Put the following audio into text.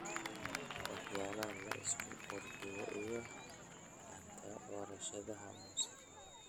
waxyaalaha la isku qurxiyo iyo xataa warshadaha muusiga.